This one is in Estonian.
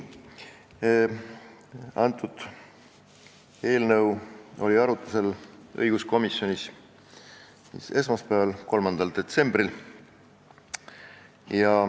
See eelnõu oli arutlusel õiguskomisjonis esmaspäeval, 3. detsembril.